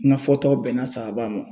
N ka fɔtaw bɛnna saaba ma.